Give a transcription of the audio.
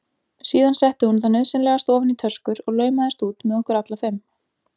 Síðan setti hún það nauðsynlegasta ofan í töskur og laumaðist út með okkur allar fimm.